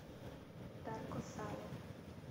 тарко сале